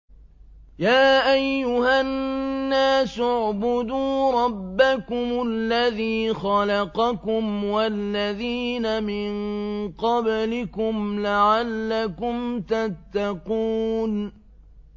يَا أَيُّهَا النَّاسُ اعْبُدُوا رَبَّكُمُ الَّذِي خَلَقَكُمْ وَالَّذِينَ مِن قَبْلِكُمْ لَعَلَّكُمْ تَتَّقُونَ